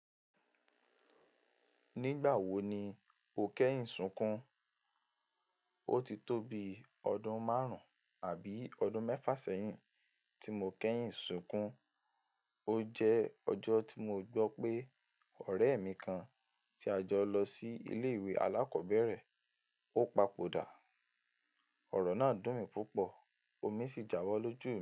Nígbà wo ni o kẹ́yìn sunkún? O ti tó bi ọdún márùn-ún àbí ọdún mẹ́fà sẹ́yìn tí mo kẹ́yìn sunkún. O jẹ́ ọjọ́ tí mo gbọ́ pé ọ̀rẹ́ mi kan ti a jọ lọ sí ilé ìwé alákọ̀ọ́bẹ̀rẹ̀, ó papòdà. Ọ̀rọ̀ náà dùn mí púpọ̀, omi sì jábọ́ lójú.